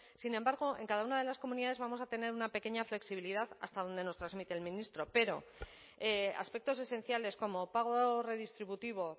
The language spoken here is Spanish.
sin embargo en cada una de las comunidades vamos a tener una pequeña flexibilidad hasta dónde nos transmite el ministro pero aspectos esenciales como pago redistributivo